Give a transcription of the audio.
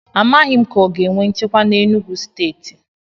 A maghi m ka o ga enwe nchekwa na Enugwu stééti